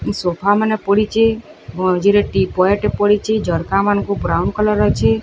Sofa ମାନେ ପଡ଼ିଚି ମଝିରେ ଟିପୋଏ ଟେ ପଡ଼ିଚି ଝରକା ମାନକୁ ବ୍ରାଉନ କଲର ଅଛି।